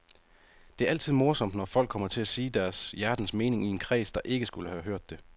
Det er altid morsomt, når folk kommer til at sige deres hjertens mening i en kreds, der ikke skulle have hørt det.